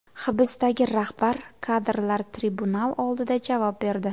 Hibsdagi rahbar kadrlar tribunal oldida javob berdi.